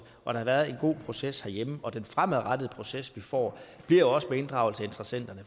har været en god proces herhjemme og den fremadrettede proces vi får bliver også med inddragelse af interessenterne